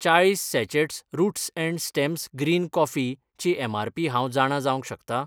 चाळीस sachets roots and stems green coffee ची MRP हांव जाणा जावंक शकता ?